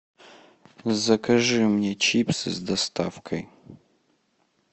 закажи мне чипсы с доставкой